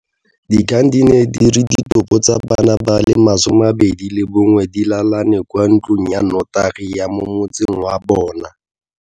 Dikgang di ne di re ditopo tsa bana ba le 21 di lalane kwa ntlong ya notagi ya mo motseng wa bona.